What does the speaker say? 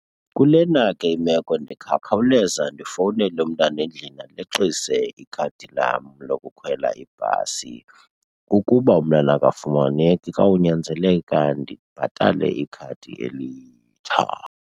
Kulena ke imeko ndingakhawuleza ndifowunele umntana endlini aleqise ikhadi lam lokukhwela ibhasi. Ukuba umntana akafumaneki kuyawunyanzeleka ndibhatale ikhadi elitsha.